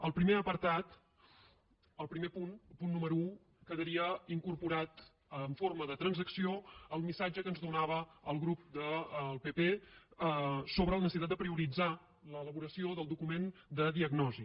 al primer apartat al primer punt al punt número un quedaria incorporat en forma de transacció el missatge que ens donava el grup del pp sobre la necessitat de prioritzar l’elaboració del document de diagnosi